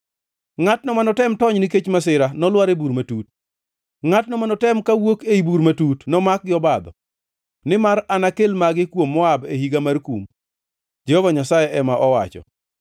“Ngʼatno manotem tony nikech masira nolwar e bur matut, ngʼatno manotem kawuok ei bur matut, nomak gi obadho; nimar anakel magi kuom Moab e higa mar kum,” Jehova Nyasaye ema owacho.